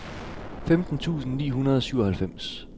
femten tusind ni hundrede og syvoghalvfems